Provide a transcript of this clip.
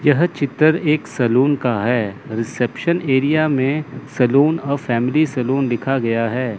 यह चित्र एक सैलून का है रिसेप्शन एरिया में सैलून और फैमिली सैलून लिखा गया है।